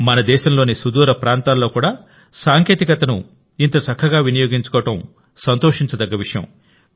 మన దేశంలోని సుదూర ప్రాంతాల్లో కూడా సాంకేతికతను ఇంత చక్కగా వినియోగించుకోవడం సంతోషించదగ్గ విషయం